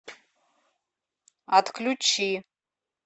отключи